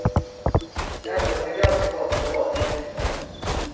Ändå var det ganska gott om lagens väktare.